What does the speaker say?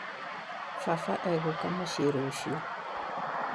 Baba egũka mũcĩĩ rũciũ